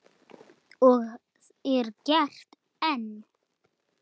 Og er gert enn.